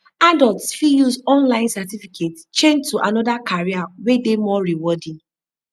adults fit use online certificate change to another career wey dey more rewarding